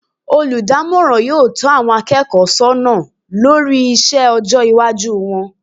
Olùdámòràn yóò tó àwon akéèkó sónà lórí isé ojó iwájú won